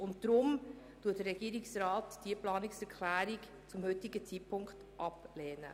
Deshalb lehnt der Regierungsrat diese Planungserklärung zum heutigen Zeitpunkt ab.